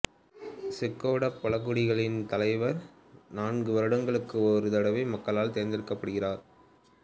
Choctaw பழங்குடிகளின் தலைவர் நான்கு வருடங்களுக்கு ஒரு தடவை மக்களால் தெரிந்தெடுக்கப்படுகிறார்